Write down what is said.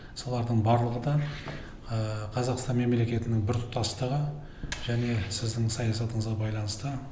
солардың барлығы да қазақстан мемлекетінің бір тұтастығы және сіздің саясатыныңызға байланысты